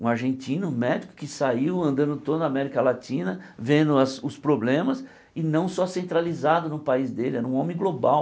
Um argentino médico que saiu andando toda a América Latina vendo as os problemas e não só centralizado no país dele, era um homem global.